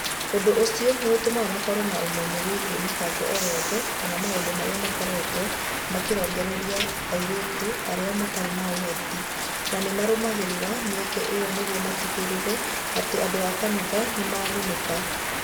Ũndũ ũcio nĩ ũtũmaga makorũo na ũmenyo wĩgiĩ mĩbango o yothe kana maũndũ marĩa marekwo marongoreirie airĩtu arĩa matarĩ na ũhoti, na nĩ marũmagĩrĩra mĩeke ĩyo nĩguo matigĩrĩre atĩ andũ a kanitha nĩ magunĩka.